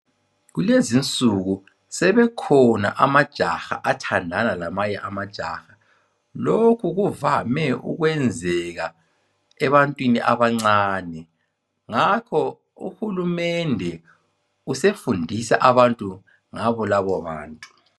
Kulezinsuku sebekhona amajaha athandana lamanye amajaha lokhu kuvame okwenzeka ebantwini abancane ngakho uhulumede usefundisa abantu ngabo labobantu.